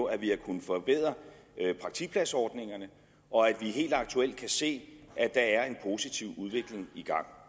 at vi har kunnet forbedre praktikpladsordningerne og at vi helt aktuelt kan se at der er en positiv udvikling i gang